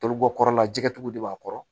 Toli bɔ kɔrɔ la jɛgɛtigiw de b'a kɔrɔ